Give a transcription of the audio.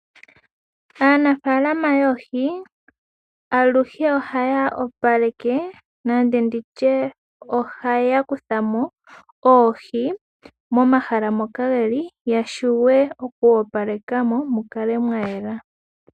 Aanafalama yoohi aluhe ohaya opaleke nenge nditye ohaya kuthamo oohi momahala mokadhili yashiwe oku opalekamo mu kale mwa yela.